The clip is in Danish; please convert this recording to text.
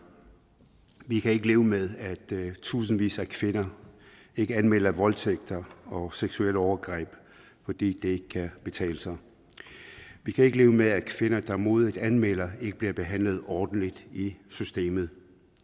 vi kan ikke leve med at tusindvis af kvinder ikke anmelder voldtægter og seksuelle overgreb fordi det ikke kan betale sig vi kan ikke leve med at kvinder der modigt anmelder det ikke bliver behandlet ordentligt i systemet